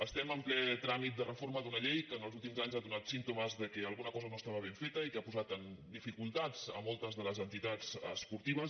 estem en ple tràmit de reforma d’una llei que els úl·tims anys ha donat símptomes que alguna cosa no es·tava ben feta i que ha posat en dificultats moltes de les entitats esportives